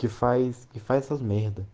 китайский факса змее